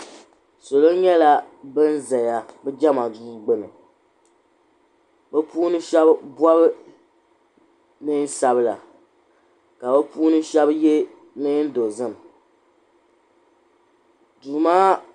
Sal. nyɛla bin zaya jema duu gbini bɛ puuni sheba bobi niɛn'sabla ka bɛ puuni sheba ye niɛn dozim duu maa.